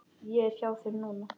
Ég er hjá þér núna.